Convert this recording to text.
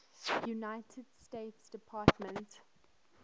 united states department